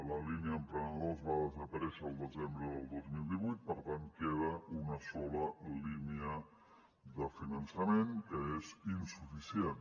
la línia emprenedors va desaparèixer el desembre del dos mil divuit per tant queda una sola línia de finançament que és insuficient